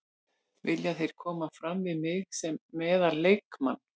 Vilja þeir koma fram við mig sem meðal leikmann.